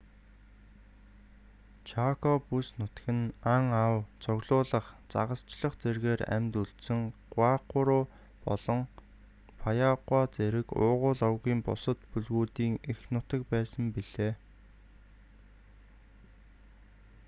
чако бүс нутаг нь ан ав цуглуулах загасчлах зэргээр амьд үлдсэн гуайкуру болон паяагуа зэрэг уугуул овгийн бусад бүлгүүдийн эх нутаг байсан билээ